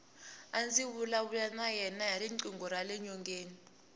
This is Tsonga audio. a ndzi vulavula na yena hi riqingho rale nyongeni